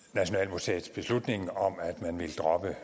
museet vil droppe